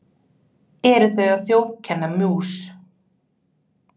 eru þau að þjófkenna mús